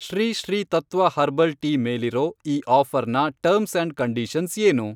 Shri Sri Tattva herbal tea ಮೇಲಿರೋ ಈ ಆಫ಼ರ್ನ ಟರ್ಮ್ಸ್ ಅಂಡ್ ಕಂಡೀಷನ್ಸ್ ಏನು?